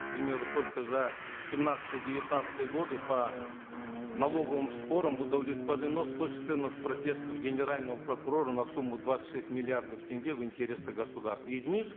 к примеру только за семнадцатый девятнадцатый годы по налоговым спорам удовлетворено сто четырнадцать протестов генерального прокурора на сумму двадцать шесть миллиардов тенге в интересах государства из них